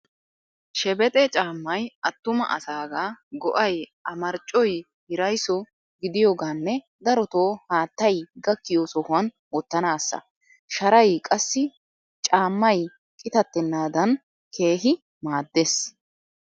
Shebexe caammay attuma asaaga go'ay a marccoy hirayiso gidiyoogaanne darotoo haattay gakkiyo sohuwan wottanaassa. Sharay qassi caammay qitattennaadan keehi maaddees.